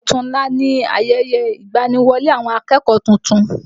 Ọ̀tunla ni ayẹyẹ ìgbani-wọlé àwọn akẹ́kọ̀ọ́ tuntun